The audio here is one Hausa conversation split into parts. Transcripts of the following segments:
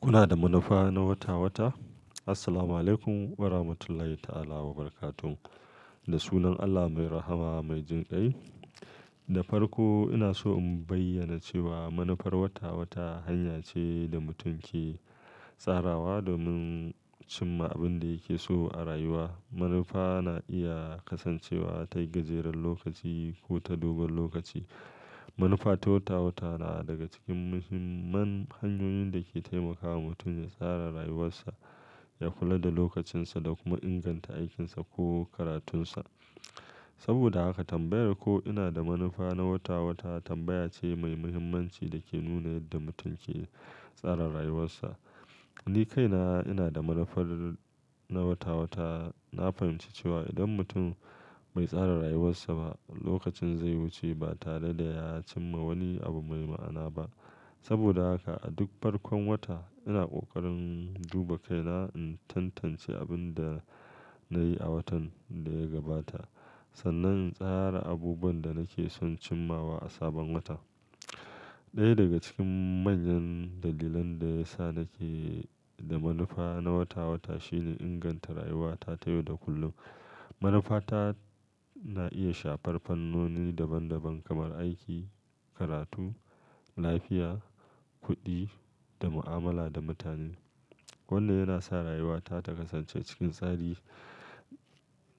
Kuna da manufa na wata-wata? Assalamualaikum warahmatullahi ta'ala wabarakatuh. Da sunan Allah mai rahama mai jin klƙai. Da farko ina so in bayyana cewa manufar wata-wata hanya ce da mutum ke tsarawa domin cimma abinda yake so a rayuwa. Manufa na iya kasancewa ta gajeren lokaci ko ta dogon lokaci. Manufa ta wata-wata na daga cikin muhimman hanyoyin da ke taimakawa mutum ya tsara rayuwarsa, ya kula da lokacinsa da kuma inganta aikinsa ko karatunsa. Saboda haka tambayar ko ina da manufa na wata-wata tambaya ce mai muhimmanci da ke nuna yadda mutum ke tsara rayuwarsa. Ni kaina ina da manufar na wata-wata. Na fahimci cewa idan mutum bai tsara rayuwarsa ba, lokacin zai wuce ba tare da ya cimma wani abu mai ma'ana ba. Saboda haka a duk farkon wata ina ƙoƙarin duba kaina in tantance abinda na yi a watan da ya gabata sannan in tsara abubuwan da nake son cimmawa a sabon wata. Ɗaya daga cikin manyan dalilan da yasa nake da manufa na wata-wata shine inganta rayuwata ta yau da kullum. Manufa ta na iya shafar fannoni daban-daban kamar aiki, karatu, lafiya, kuɗi da mu'amala da mutane. Wannan yana sa rayuwata ta kasance cikin tsari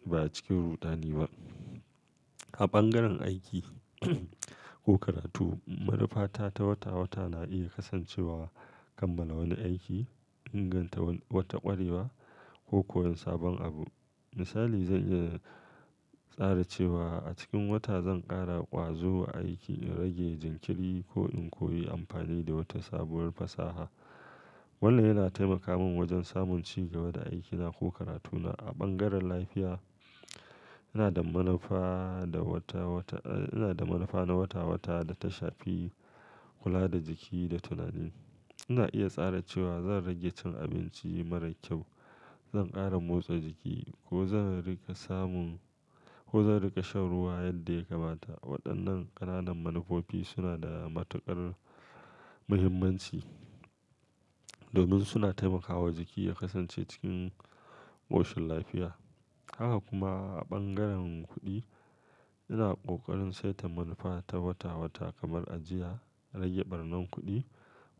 ba a cikin ruɗani ba. A bangaren aiki ko karatu, manufa ta ta wata-wata na iya kasancewa kammala wani aiki, inganta wata ƙwarewa ko koyon sabon abu. Misali, zan iya tsara cewa a cikin wata zan ƙara ƙwazo a aiki in rage jinkiri ko in koyi amfani da wata sabuwar fasaha. Wannan yana taimaka min wajan samun ci gaba da aikina ko karatuna. A ɓangaren lafiya, ina da manufa da wata-wata, eh, ina da manufa na wata-wata da ta shafi, kula da jiki da tunani. Ina iya tsara cewa zan rage cin abinci mara kyau, zan ƙara motsa jiki ko zan riƙa samun-- ko zan riƙa shan ruwa yadda yakamata. Waɗannan ƙananan manufofi suna da matuƙar muhimmanci domin suna taimakawa jiki ya kasance cikin ƙoshin lafiya. Haka kuma a bangaren kuɗi, ina ƙoƙarin saita manufa ta wata-wata kamar ajiya, rage ɓarnan kuɗi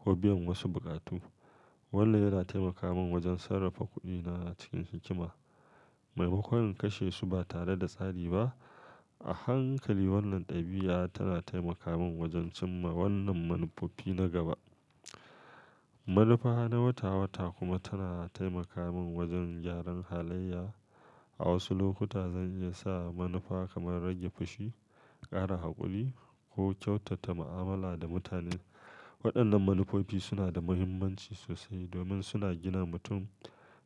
ko biyan wasu buƙatu. Wannan yana taimaka min wajen sarrafa kuɗina cikin hikima maimaƙon in kashe su ba tare da tsari ba. A hankali wannan ɗabi'a tana taimaka min wajan cimma wannan manufofi na gaba. Manufa na wata-wata kuma tana taimaka min wajen gyaran halayya. A wasu lokuta zan iya sa manufa kamar rage fushi, ƙara haƙuri ko kyautata mu'amala da mutane. Waɗannan manufofi suna da muhimmanci sosai domin suna gina mutum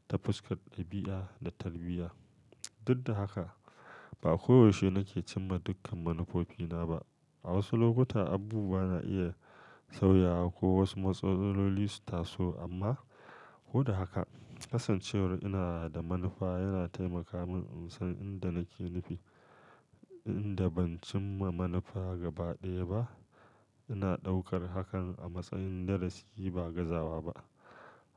ta fuskar ɗabi'a da tarbiyya. Duk da haka ba ko yaushe nake cimma dukkan manufofina ba. A wasu lokuta abubuwa na iya sauyawa ko wasu matsaloli su taso amma ko da haka kasancewar ina da manufa yana taimaka min in san inda nake nufi. Inda ban cimma manufa gaba ɗaya ba, ina ɗaukar hakan a matsayin darasi ba gazawa ba.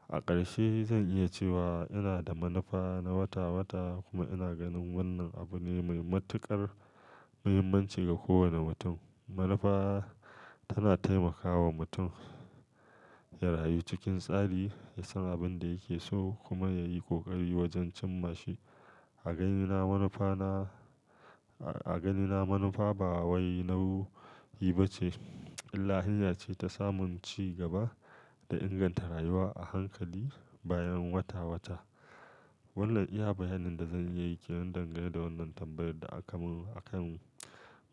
A ƙarshe zan iya cewa ina da manufa na wata-wata kuma ina ganin wannan abu ne mai matuƙar muhimmanci ga kowane mutum. Manufa tana taimakawa mutum ya rayu cikin tsari, ya san abin da yake so kuma ya yi ƙoƙari wajen cimma shi. A ganina manufa na-- a ganina manufa ba wai nauyi ba ce, illa hanya ce ta samun ci gaba da inganta rayuwa a hankali bayan wata-wata. Wannan iya bayanin da zan iya yi kenan dangane da wannan tambayar da aka mun a kan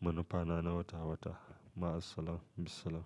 manufa na wata-wata. Ma assalam, bissalam.